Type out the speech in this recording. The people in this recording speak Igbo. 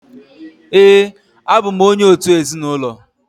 Ee, abụ m onye òtù ezinụlọ